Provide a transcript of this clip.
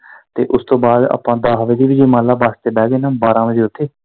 ਤੇ ਉਸ ਤੋਂ ਬਾਅਦ ਆਪਾਂ ਦਸ ਵਜੇ ਵੀ ਜੇ ਬਸ ਬਹਿ ਗਏ ਨਾ ਬਾਰਾਂ ਵਜੇ ਉੱਥੇ।